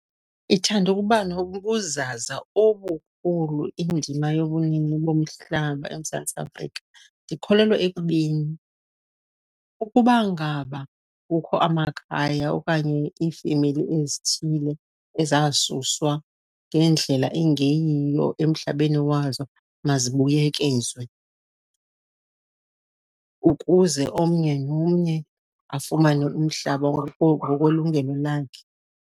Ithanda ukuba nobuzaza obukhulu indima yobunini bomhlaba eMzantsi Afrika. Ndikholelwa ekubeni, ukuba ngaba kukho amakhaya okanye iifemeli ezithile ezasuswa ngendlela engeyiyo emhlabeni wazo mazibuyekezwe ukuze omnye nomnye afumane umhlaba ngokwelungelo lwakhe.